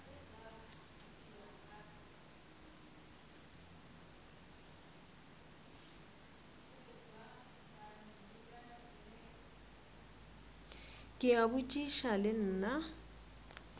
ke a botšiša le nna